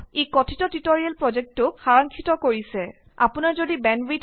spreadsheet প্ৰেকটিচods নামৰ অধীনত ইয়াক চেভ কৰক